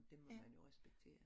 Det må man jo respektere